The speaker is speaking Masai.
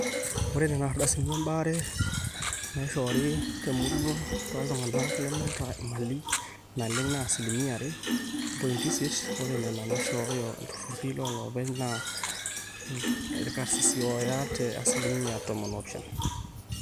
ore nena ardasini ebaare naaishoori temurua tooltung'anak lemeeta imali naleng naa asilimia are ompointi isiet, ore nena naaishooyo ilturrurri looloopeny naa irkasisi ooya te asilimia tomon oopishana